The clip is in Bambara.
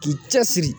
K'i cɛ siri